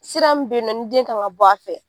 Sira min bɛ yen nɔ ni den kan ka bɔ a fɛ.